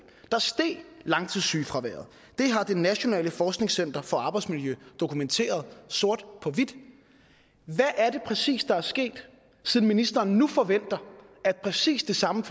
langtidssygefraværet det har det nationale forskningscenter for arbejdsmiljø dokumenteret sort på hvidt hvad er det præcis der er sket siden ministeren nu forventer at præcis det samme